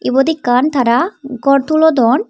yot ekkan tara gor tulodon.